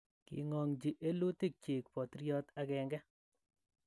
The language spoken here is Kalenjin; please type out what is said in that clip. King'ang�chi elutikyiik botiriot l